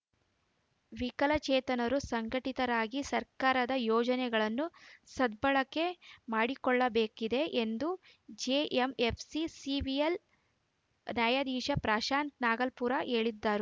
ವಿಕಲಚೇತನರು ಸಂಘಟಿತರಾಗಿ ಸರ್ಕಾರದ ಯೋಜನೆಗಳನ್ನು ಸದ್ಬಳಕೆ ಮಾಡಿಕೊಳ್ಳಬೇಕಿದೆ ಎಂದು ಜೆಎಂಎಫ್‌ಸಿ ಸಿವಿಲ್‌ ನ್ಯಾಯಾದೀಶ ಪ್ರಶಾಂತ್‌ ನಾಗಲಾಪುರ ಹೇಳಿದರು